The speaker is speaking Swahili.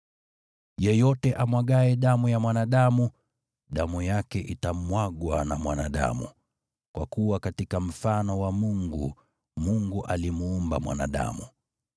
“Yeyote amwagaye damu ya mwanadamu, damu yake itamwagwa na mwanadamu, kwa kuwa katika mfano wa Mungu, Mungu alimuumba mwanadamu.